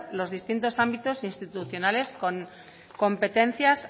los distintos ámbitos institucionales con competencias